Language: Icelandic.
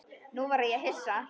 Nú varð ég hissa.